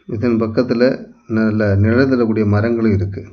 இதன் பக்கத்துல நல்ல நெழல் தர கூடிய மரங்களு இருக்கு.